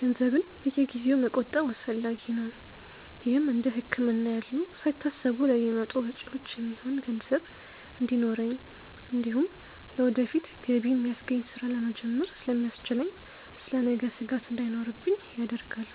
ገንዘብን በየጊዜው መቆጠብ አስፈላጊ ነው። ይህም እንደ ህክምና ያሉ ሳይታሰቡ ለሚመጡ ወጪዎች የሚሆን ገንዘብ እንዲኖረኝ እንዲሁም ለወደፊት ገቢ የሚያስገኝ ስራ ለመጀመር ስለሚያስችለኝ ስለ ነገ ስጋት እንዳይኖርብኝ ያደርጋል።